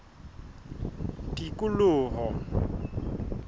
tikoloho